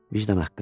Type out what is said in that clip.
Vicdan haqqı.